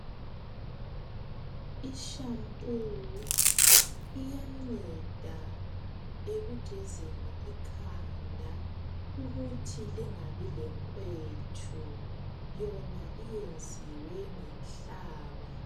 Ishampoo iyanceda ekugezeni ikhanda ukuthi lingabi lenkwethu yona iyenziwe nganhlaba.